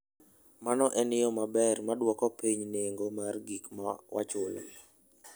Mano en yo maber mar dwoko piny nengo mar gik ma wachulo.